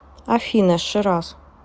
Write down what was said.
афина шираз